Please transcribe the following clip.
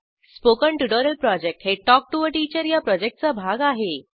spoken tutorial project हे talk to teacher या प्रॉजेक्टचा भाग आहे